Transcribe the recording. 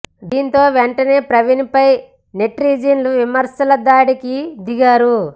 దీంతో వెంటనే ప్రవీణ్ పై నెటిజన్లు విమర్శల దాడికి దిగారు